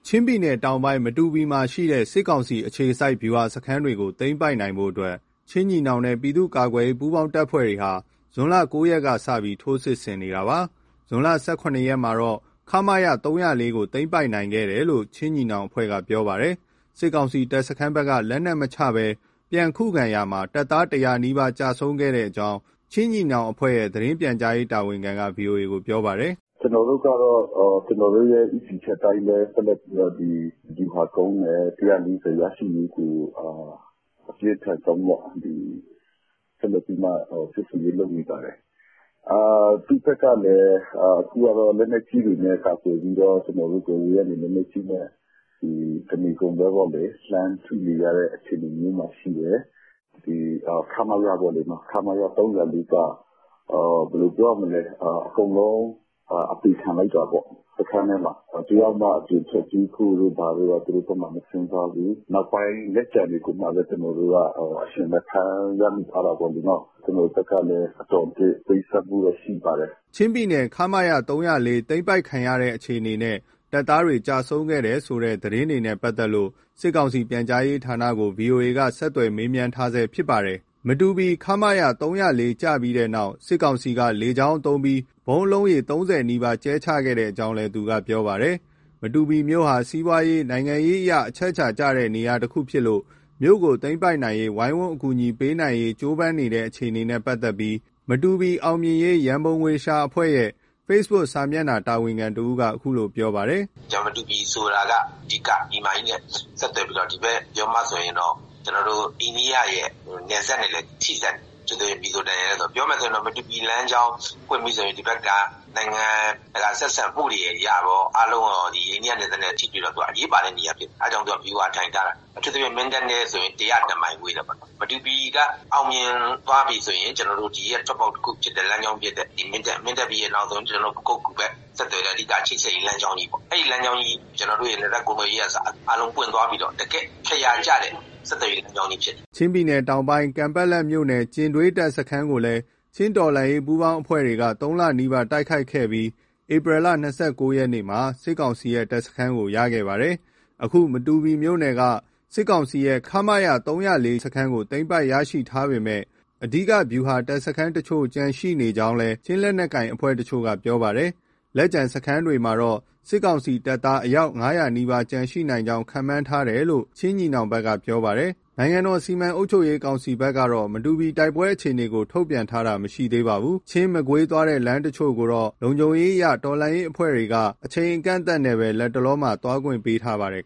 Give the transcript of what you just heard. ချင်းပြည်နယ်တောင်ပိုင်း မတူပီမြို့မှာရှိတဲ့ စစ်ကောင်စီအခြေစိုက် ဗျူဟာစခန်းတွေကို သိမ်းပိုက်နိုင်ဖို့အတွက် ချင်းညီနောင်နဲ့ ပြည်သူ့ကာကွယ်ရေး ပူးပေါင်းတပ်ဖွဲ့တွေဟာ ဇွန်လ ၉ ရက်ထဲကစပြီး ထိုးစစ်ဆင် တိုက်ခိုက်ခဲ့တာပါ။ ဇွန်လ ၁၇ ရက်မှာတော့ ခမရ ၃၀၄ ကို သိမ်းပိုက်ခဲ့တယ်လို့ ချင်းညီနောင်အဖွဲ့က ပြောပါတယ်။ စစ်ကောင်စီ တပ်စခန်းဘက်က လက်နက်မချပဲ ပြန်လည်ခုခံရာမှာ တပ်သား ၁၀၀ နီးပါး ကျဆုံးခဲ့ကြောင်း ချင်းညီနောင်အဖွဲ့ရဲ့ သတင်းပြန်ကြားရေး တာဝန်ခံက ဗွီအိုအေကို ပြောပါတယ်။ "ကျနော်တို့ကတော့ ကျနော်တို့ရဲ့ ဦးတည်ချက်အတိုင်းပဲ ဆက်လက်ပြီးတော့ ဗျူဟာကုန်းနဲ့ (၁၄၀) ရရှိရေးကို အပြင်းထန်ဆုံးပေါ့ ဆက်လက်ပြီးမှ စစ်ဆင်ရေး လုပ်နေပါတယ်။ သူလက်ကလည်း အခု လက်နက်ကြီးတွေနဲ့ ကာကွယ်ပြီးတော့ ကျနော်တို့ကို အဝေးကနေ လက်နက်ကြီးနဲ့ တနေကုန်လှမ်းထုနေတဲ့ အခြေအနေမျိုးမှာ ရှိတယ်။ ခမရ (၃၀၄)က ဘယ်လိုပြောရမလဲ အကုန်လုံး အသေခံလိုက်တာပေါ့ စခန်းထဲမှာ။ တယောက်မှာ အပြင်ထွက်ပြေးဖို့တို့ သူတို့ဘက်က မစဉ်းစားဘူး၊ နောက်ပိုင်းလက်ကျန်တွေမှပဲ ကျနော်တို့ အရှင်ဖမ်းမိရထားတာ ပေါ့နော်။ ကျနော်တို့ဘက်ကလည်း အတော်အသင့် ပေးဆပ်မှုတော့ ရှိပါတယ်။" ချင်းပြည်နယ် ခမရ (၃၀၄) တပ်သိမ်းပိုက်ခံရတဲ့ အခြေအနေနဲ့ တပ်သားတွေ ကျဆုံးခဲ့တယ်ဆိုတဲ့ သတင်းတွေနဲ့ ပတ်သက်လို့ စစ်ကောင်စီ ပြန်ကြားရေးဌာနကို ဗွီအိုအေက ဆက်သွယ်မေးမြန်းထားဆဲဖြစ်ပါတယ်။ မတူပီ ခမရ(၃၀၄) ကျပြီးတဲ့နောက်မှာ စစ်ကောင်စီက လေကြောင်းသုံးပြီး ဗုံးအလုံးရေ ၃၀နီးပါး ကြဲချခဲ့ကြောင်းလည်း သူက ပြောပါတယ်။ မတူပီမြို့ဟာ စီးပွားရေး၊ နိုင်ငံရေးအရ အချက်အချာကျတဲ့ နေရာတခုဖြစ်လို့ မြို့ကိုသိမ်းပိုက်နိုင်ရေးဝိုင်း၀န်းအကူအညီပေးနိုင်ရေး ကြိုးပမ်းနေတဲ့အခြေအနေနဲ့ ပတ်သက်လို့ မတူပီ အောင်မြင်ရေး ရန်ပုံငွေရှာအဖွဲ့ ရဲ့ ဖေ့စ်ဘုတ်ခ်စာမျက်နှာမှာ တာ၀န်ခံတဦးကအခုလို ပြောသွားပါတယ်။ " သတင်းတွေ ကြားရတာလည်း အားရတယ်၊ ကျေနပ်တယ်။ မတူပီဆိုတာက ပြည်မကြီးနဲ့ ဆက်သွယ်ပြီးတော့ ဒီဘက်မှာဆိုရင်တော့ အိန္ဒိယရဲ့ နယ်စပ်နဲ့လည်း ထိစပ်နေတယ် မီဇိုရမ်နဲ့။ ပြောရမယ်ဆိုရင် မတူပီလမ်းကြောင်း ပွင့်ပြီဆိုရင် ဒီဘက်က နိုင်ငံတကာ ဆက်ဆံမှုတွေအရရော အားလုံးက အိန္ဒိယနယ်စပ်နဲ့ထိပြီး အရေးပါတဲ့ နေရာဖြစ်တယ်။ အဲဒါကြောင့်မို့ သူကဗျူဟာထိုင်ထားတာ။ အထူးသဖြင့် မင်းတပ်နဲ့ဆို ၁၀၁မိုင် ဝေးတယ်ပေါ့နော်၊ မတူပီက အောင်မြင်သွားပြီဆိုရင် ဒီရဲ့ထွက်ပေါက်ဖြစ်တဲ့ လမ်းကြောင်းဖြစ်တဲ့ မင်းတပ်ပြီးရင်၊ ပခုက္ကူဘက် ဆက်သွယ်တဲ့ အဓိက ချိတ်ဆက်ရေး လမ်းကြောင်းကြီးပေါ့။ ကျနော်တို့ နယ်စပ်ကုန်သွယ်ရေးကအစ အားလုံးပွင့်သွားပြီးတော့ တကယ့်အခရာကျတဲ့ ဆက်သွယ်ရေး လမ်းကြောင်းကြီးဖြစ်တယ်။" ချင်းပြည်နယ်တောင်ပိုင်း ကန်ပက်လက်မြို့နယ်၊ ကျင်ဒွေးတပ်စခန်းကိုလည်း ချင်းတော်လှန်ရေး ပူးပေါင်းအဖွဲ့တွေက ၃ လနီးပါး တိုက်ခိုက်ခဲ့ပြီး ဧပြီလ၂၉ ရက်မှာ စစ်ကောင်စီရဲ့ တပ်စခန်းကို ရရှိခဲ့ပါတယ်။ အခု မတူပီမြို့နယ်က စစ်ကောင်စီရဲ့ မခရ (၃၀၄) စခန်းကို သိမ်းပိုက်ရရှိထားပေမဲ့ အဓိက ဗျူဟာ တပ်စခန်းတချို့ ကျန်ရှိနေကြောင်းလည်း ချင်းလက်နက်ကိုင် အဖွဲ့တချို့က ပြောပါတယ်။ လက်ကျန် စခန်းတွေမှာတော့ စစ်ကောင်စီတပ်သား အယောက် ၅၀၀ နီးပါး ကျန်ရှိနိုင်ကြောင်း ခန့်မှန်းထားတယ်လို့ ချင်းညီနောင်ဘက်က ပြောပါတယ်။ နိုင်ငံတော် စီမံအုပ်ချုပ်ရေးကောင်စီ (နစက စစ်ကောင်စီ) ဘက်ကတော့ မတူပီတိုက်ပွဲအခြေအနေကို ထုတ်ပြန်ထားတာ မရှိသေးပါဘူး။ ချင်း-မကွေးသွားတဲ့ လမ်းတချို့ကိုတော့ လုံခြုံရေးအရ တော်လှန်ရေး အဖွဲ့တွေက အချိန်အကန့်အသတ်နဲ့ပဲ လက်တလောမှာ သွားခွင့်ပေးထားပါတယ်